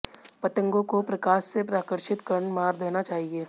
पतंगों को प्रकाश से आकर्षित कर मार देना चाहिए